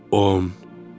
On.